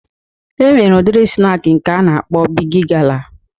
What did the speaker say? E nwere udiri snak nke a na-akpọ Bigi gala